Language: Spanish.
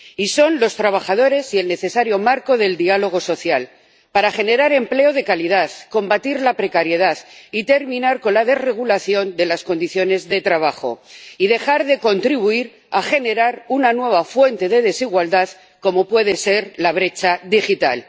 Y son los trabajadores y el necesario marco del diálogo social, para generar empleo de calidad, combatir la precariedad y terminar con la desregulación de las condiciones de trabajo y dejar de contribuir a generar una nueva fuente de desigualdad, como puede ser la brecha digital.